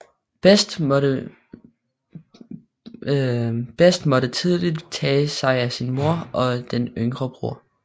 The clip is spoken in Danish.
Best måtte tidligt tage sig af sin mor og den yngre bror